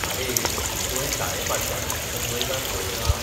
आरे, तुवें शाळेफाटल्यान आशिल्लें मैदान पळयलां?